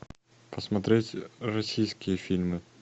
посмотреть российские фильмы